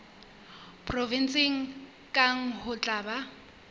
provenseng kang ho tla ba